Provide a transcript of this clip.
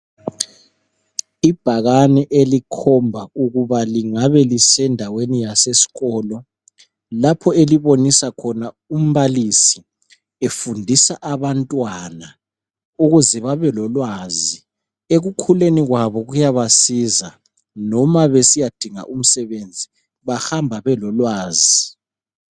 Ibhakani elikhomba ukuthi lingabe lisendaweni yaseskolo lapho elibonisa khona umbalisi efundisa abantwana ukuze babe lolwazi. Ekukhuleni kwabo kuyabasiza, noma besiyadinga umsebenze bahamba belolwazi.